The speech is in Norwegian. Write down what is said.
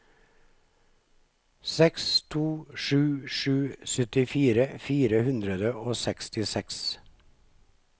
seks to sju sju syttifire fire hundre og sekstiseks